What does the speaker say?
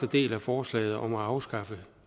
del af forslaget om at afskaffe